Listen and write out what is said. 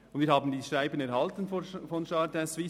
Wir haben das Schreiben von Jardin Suisse erhalten.